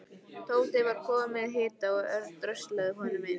Tóti var kominn með hita og Örn dröslaði honum inn.